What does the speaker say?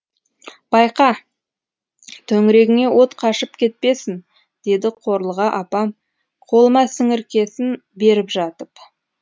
байқа төңірегіңе от қашып кетпесін деді қорлыға апам қолыма сіңіркесін беріп жатып